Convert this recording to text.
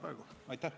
Aitäh!